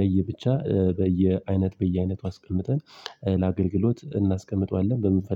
ለየ ብቻ በየአይነት በየአይነቱ አስቀምጠን ለአገልግሎት እናስቀምጠዋለን በምንፈልግ